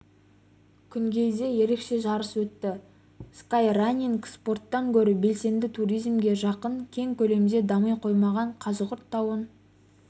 күнгейде ерекше жарыс өтті скай-ранинг спорттан гөрі белсенді туризмге жақын кең көлемде дами қоймаған қазығұрт тауын